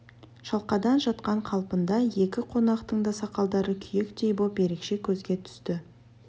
шалқадан жатқан қалпында екі қонақтың да сақалдары күйектей боп ерекше көзге түсті